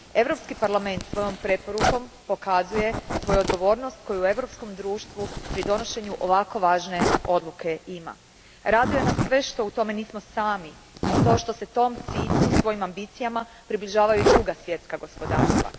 Europski parlament svojom preporukom pokazuje svoju odgovornost koju ima u europskom društvu pri donošenju ovako važne odluke. Raduje nas sve što u tome nismo sami i to što se tom cilju svojim ambicijama približavaju i druga svjetska gospodarstva.